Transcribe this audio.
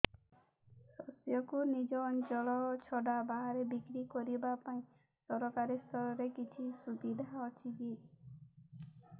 ଶସ୍ୟକୁ ନିଜ ଅଞ୍ଚଳ ଛଡା ବାହାରେ ବିକ୍ରି କରିବା ପାଇଁ ସରକାରୀ ସ୍ତରରେ କିଛି ସୁବିଧା ଅଛି କି